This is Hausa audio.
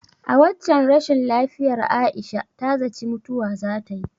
A waccen rashin lafiyar Aisha ta zaci mutuwa zatayi.